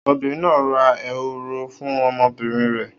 Obìnrin náà ra ehoro fún ọmọbìnrin rẹ̀.